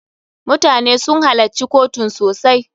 MUtane sun halacci kotun sosai.